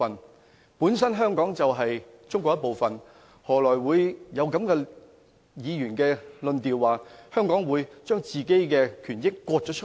香港本身就是中國的一部分，為何議員會說，香港把本身的權益分割呢？